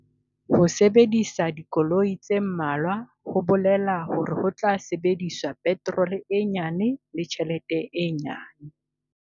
Ho sebedisa dikoloi tse mmalwa ho bolela hore ho tla sebediswa peterole e nyane le tjhelete e nyane.